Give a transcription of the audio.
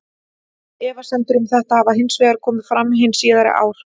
Efasemdir um þetta hafa hins vegar komið fram hin síðari ár.